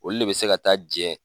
Olu le be se ka taa jɛn